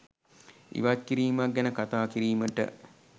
ඉවත්කිරීමක් ගැන කතා කිරීමට